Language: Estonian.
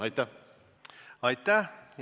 Aitäh!